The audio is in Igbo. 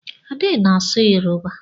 Ade na-asụ Yoruba.